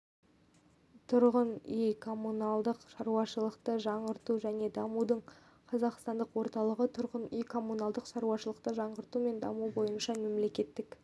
тұрғын үй коммуналдық-шаруашылықты жаңғырту және дамытудың қазақстандық орталығы тұрғын үй-коммуналдық шаруашылықты жаңғырту және дамыту бойынша мемлекеттік